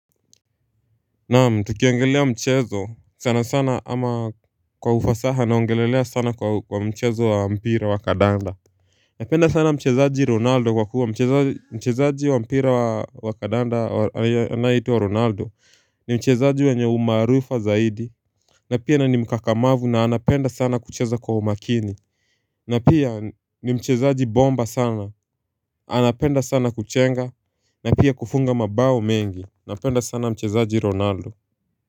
Naam tukiangalia mchezo sana sana ama kwa ufasaha naongelelea sana kwa mchezo wa mpira wa kadanda Napenda sana mchezaji ronaldo kwa kuwa mchezaji wa mpira wa kadanda anaitwa ronaldo ni mchezaji mwenye umaarufu zaidi na pia na ni mkakamavu na anapenda sana kucheza kwa umakini na pia ni mchezaji bomba sana anapenda sana kuchenga na pia kufunga mabao mengi Napenda sana mchezaji ronaldo.